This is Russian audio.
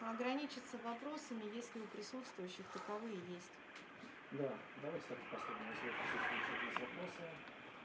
ограничиться вопросами если у присутствующих таковые есть да давайте так и поступим если у присутствующих есть вопросы